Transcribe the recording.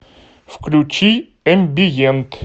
включи эмбиент